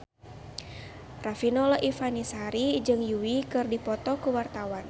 Riafinola Ifani Sari jeung Yui keur dipoto ku wartawan